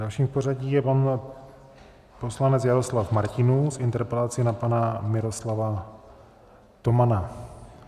Dalším v pořadí je pan poslanec Jaroslav Martinů s interpelací na pana Miroslava Tomana.